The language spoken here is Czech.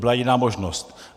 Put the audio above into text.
Nebyla jiná možnost.